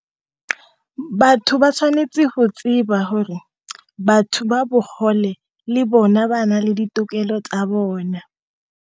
Batho ba tshwanetse ho tseba hore batho ba bogole le bone ba na le ditokelo tsa bona.